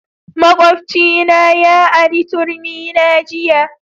Makwabcina ya ari turmi na jiya